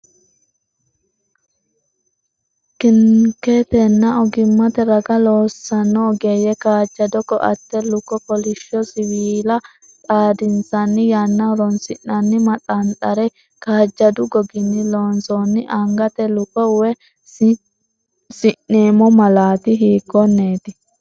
kiniketenna ogimmate raga loossanno ogeeyye kaajjado koatte, luko, kolishsho siwiila xadinsanni yanna horoonsi’nanni maxanxare, kaajjadu goginni loonsoonni angate luko,w, si’neemmo malaati hiikkonneeti?